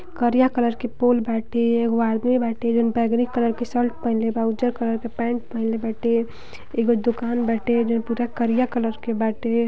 करिया कलर के पोल बाटे एगो आदमी बाटे जऊन बैगिनी कलर के शर्ट पहिनले बा उजर कलर के पैंट पहिनले बाटे। एगो दुकान बटे जऊन पूरा करिया कलर के बाटे।